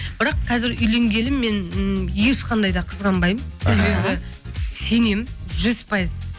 бірақ қазір үйленгелі мен ы ешқандай да қызғанбаймын себебі сенемін жүз пайыз